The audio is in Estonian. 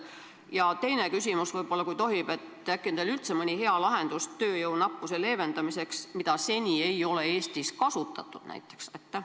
Ja teine küsimus ka, kui tohib: äkki on teil üldse tööjõunappuse leevendamiseks mõni hea lahendus, mida seni ei ole Eestis kasutatud?